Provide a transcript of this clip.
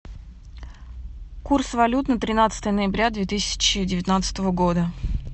курс валют на тринадцатое ноября две тысячи девятнадцатого года